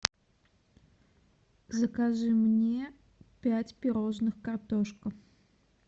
закажи мне пять пирожных картошка